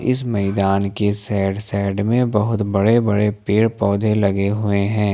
इस मैदान के साइड साइड में बहोत बड़े बड़े पेड़ पौधे लगे हुए हैं।